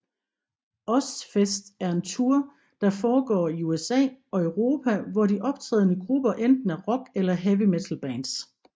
Ozzfest er en tour der foregår i USA og Europa hvor de optrædende grupper enten er rock eller heavy metalbands